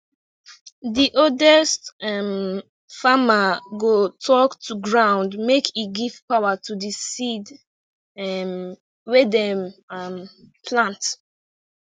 the oldest um farmer go talk to ground make e give power to the seed um wey dem um plant